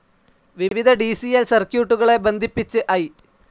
വിവിധ D C ൽ സർക്യൂട്ടുകളെ ബന്ധിപ്പിച്ച് ഐ.